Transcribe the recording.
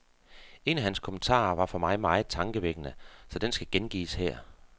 En af hans kommentarer var for mig meget tankevækkende, så den skal gengives her.